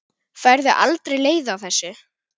Færðu aldrei leið á þessu?